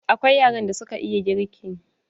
Akwai yaran da suka iya girki.